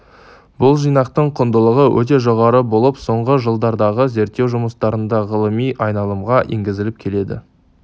бұл жинақтың құндылығы өте жоғары болып соңғы жылдардағы зерттеу жұмыстарында ғылыми айналымға енгізіліп келеді